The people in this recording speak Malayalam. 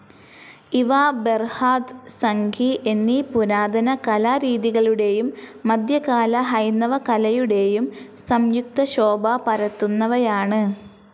ഇവാ ബെർഹാദ്, സംഗിഎന്നീ പുരാതന കലാരീതികളുടെയും മധ്യകാല ഹൈന്ദവകലയുടെയും സംയുക്ത ശോഭ പരത്തുന്നവയാണ്.